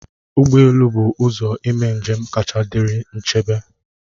Ụgbọ elu bụ ụzọ ime njem kacha dịrị nchebe